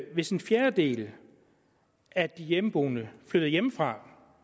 hvis en fjerdedel af de hjemmeboende flytter hjemmefra